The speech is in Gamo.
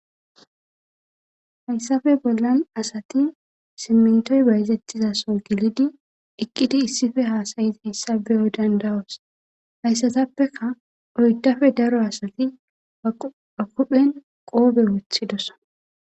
hayssafe bollan asati simmentoy bayzetizaso gilidi eqqidi issife haasayizi hissabeyo dandawos hayssatappeka oydafe daro asati ba kudphen qoobe woothidosa